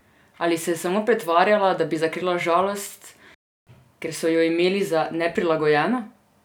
Ali se je samo pretvarjala, da bi zakrila žalost, ker so jo imeli za neprilagojeno?